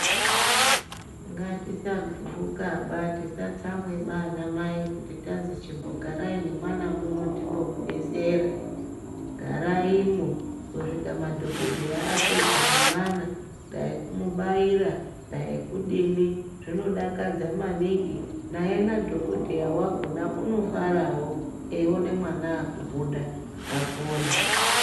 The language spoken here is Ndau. Ngatisagumbukaba tisatsamwa ana mai kuti tazi chimbogarai nemwana muno timbomudetsera garaimwo kusvika madhokodheya apedza nemwana dai kumubaira dai kudini zvinodakadza maningi naye nadhokodheya wakona unofarao eiona mwana aakubuda apona.